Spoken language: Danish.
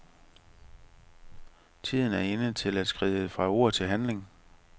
Tiden er inde til at skride fra ord til handling.